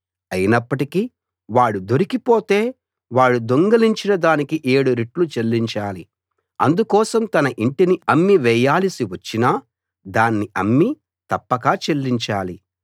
అయినప్పటికీ వాడు దొరికిపోతే వాడు దొంగిలించిన దానికి ఏడు రెట్లు చెల్లించాలి అందుకోసం తన యింటిని అమ్మివేయాలిసి వచ్చినా దాన్ని అమ్మి తప్పక చెల్లించాలి